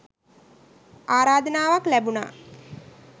ආරාධනාවක් ලැබුණා